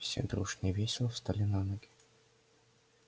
все дружно и весело встали на ноги